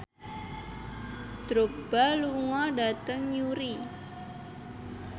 Drogba lunga dhateng Newry